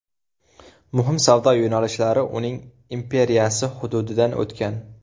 Muhim savdo yo‘nalishlari uning imperiyasi hududidan o‘tgan.